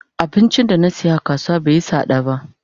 Abincin da na siya a kasuwa bai yi sada ba.